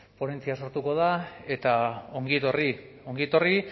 ponentzia sortuko da eta ongi etorri ongi etorri